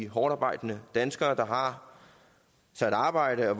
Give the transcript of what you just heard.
hårdtarbejdende danskere der har sig et arbejde og